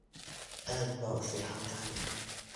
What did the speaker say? Aad ba uficnthy.